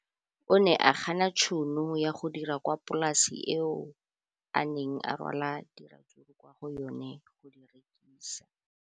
O ne a gana tšhono ya go dira kwa polaseng eo a neng rwala diratsuru kwa go yona go di rekisa.